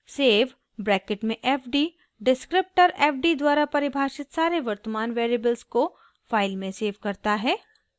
save bracket में fd descriptor fd द्वारा परिभाषित सारे वर्तमान वेरिएबल्स को फाइल में सेव करता है